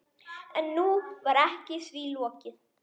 En nú var því lokið.